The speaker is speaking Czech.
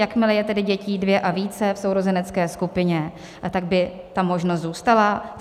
Jakmile je tedy dětí dvě a více v sourozenecké skupině, tak by ta možnost zůstala.